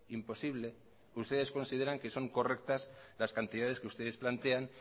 imposible ustedes consideran que son correctas las cantidades que ustedes plantean